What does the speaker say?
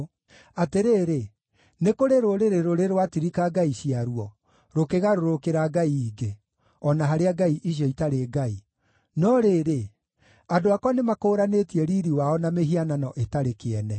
Atĩrĩrĩ, nĩ kũrĩ rũrĩrĩ rũrĩ rwatirika ngai ciaruo, rũkĩgarũrũkĩra ngai ingĩ? (O na harĩa ngai icio itarĩ ngai.) No rĩrĩ, andũ akwa nĩmakũũranĩtie Riiri wao na mĩhianano ĩtarĩ kĩene.